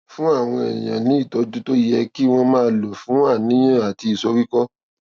fún àwọn èèyàn ní ìtójú tó yẹ kí wón máa lò fún àníyàn àti ìsoríkó